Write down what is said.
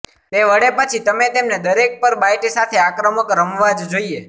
તે વળે પછી તમે તેમને દરેક પર બાઈટ સાથે આક્રમક રમવા જ જોઈએ